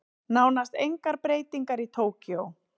Nánast engar breytingar í Tókýó